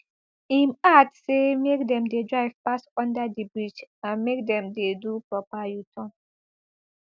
im add say make dem dey drive pass under di bridge and make dem dey do proper uturn